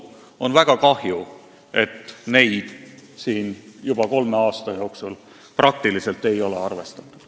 On väga kahju, et neid siin juba kolme aasta jooksul ei ole arvestatud.